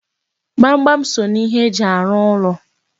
Gbamgbam so n'ihe eji arụ ụlọ.